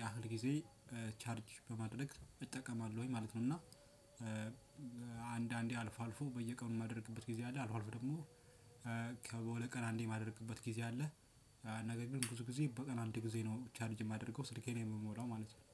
ያህል ጊዜ ቻርጅ በማድረግ እጠቀማለሁኝ ማለት ነው። እና አንድ አንዴ አልፎ አልፎ በየቀኑ የማደርግበት ጊዜ አለ። አልፎ አልፎ ደግሞ በሁለት ቀን አንዴ የማደርግበት ጊዜ አለ። ነገር ግን ብዙ ጊዜ በቀን አንድ ጊዜ ነው ቻርጅ የማደርገው ስልኬን የምሞላው ማለት ነው